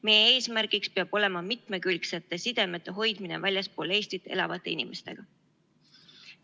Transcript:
Meie eesmärgiks peab olema mitmekülgsete sidemete hoidmine väljaspool Eestit elavate inimestega.